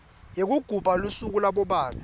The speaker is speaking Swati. yekugubha lusuku labobabe